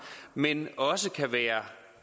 men også kan være